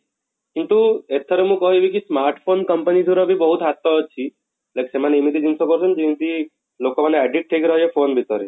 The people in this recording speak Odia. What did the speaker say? କିନ୍ତୁ ଏଥର ମୁଁ କହିବି କି smart phone company ଦ୍ୱାରା ବି ବହୁତ ହାତ ଅଛି like ସେମାନେ ଏମିତି ଜିନିଷ କରୁଛନ୍ତି ଯେମିତି ଲୋକ ମାନେ addict ହେଇକି ରହିବେ phone ଭିତରେ